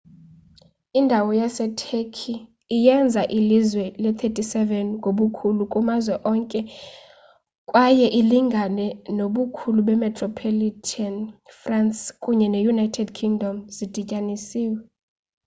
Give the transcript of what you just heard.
indawo yaseturkey iyenza ilizwe le-37 ngobukhulu kumazwe onke kwaye ilingana nobukhulu bemetropolitan france kunye ne-united kingdom zidityanisiwe